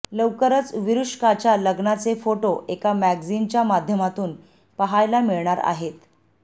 लवकरच विरुष्काच्या लग्नाचे फोटो एका मॅगजिनच्या माध्यमातून पहायला मिळणार आहेत